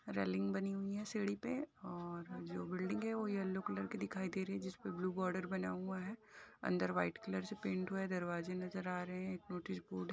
railing बनी हुई है सीढ़ी पे और जो बिल्डिंग है वो येल्लो कलर की दिखाई दे रही है जिसपे ब्लू बॉर्डर बना हुआ है अंदर वाइट कलर से पेंट हुआ है दरवाजे नजर आ रहे हैं एक नोटिस बोर्ड ह --